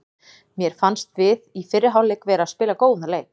Mér fannst við í fyrri hálfleik vera að spila góðan leik.